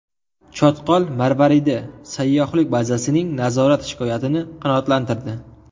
Chotqol marvaridi” sayyohlik bazasining nazorat shikoyatini qanoatlantirdi.